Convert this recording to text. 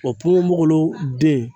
ponponpogolon den